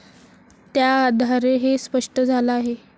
त्याआधारे हे स्पष्ट झालं आहे.